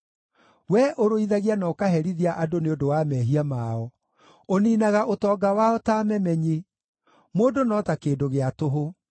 We ũrũithagia na ũkaherithia andũ nĩ ũndũ wa mehia mao; ũniinaga ũtonga wao ta memenyi; mũndũ no ta kĩndũ gĩa tũhũ.